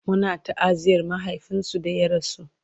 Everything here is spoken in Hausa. Muna ta'aziyar mahaifinsu da ya rasu